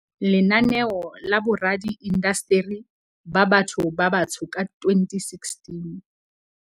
Lenaneo la Boradi indasteri ba Batho ba Batsho ka 2016.